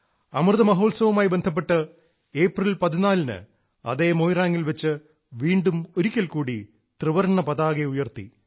അമൃത മഹോത്സവവുമായി ബന്ധപ്പെട്ട് ഏപ്രിൽ 14 ന് അതേ മൊയിറാങ്ങിൽ വെച്ച് വീണ്ടും ഒരിക്കൽ കൂടി ത്രിവർണ്ണ പതാക ഉയർത്തി